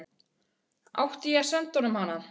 Átti ég að senda honum hana?